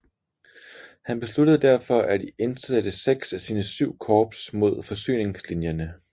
Han besluttede derfor at indsætte seks af sine syv korps mod forsyningslinjerne